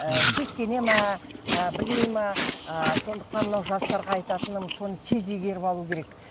ы сескене ме ы білмей ме ы сондықтан мынау жастарға айтатыным соны тез игеріп алу керек